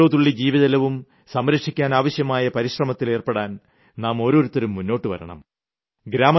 ഓരോ തുള്ളി ജീവജലവും സംരക്ഷിക്കാനാവശ്യമായ പരിശ്രമത്തിലേർപ്പെടാൻ നാം ഓരോരുത്തരും മുന്നോട്ടുവരണം